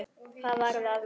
Hvað varð af mér?